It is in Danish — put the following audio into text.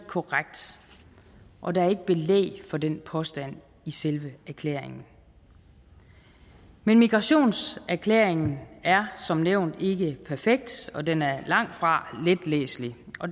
korrekt og der er ikke belæg for den påstand i selve erklæringen men migrationserklæringen er som nævnt ikke perfekt og den er langtfra let læselig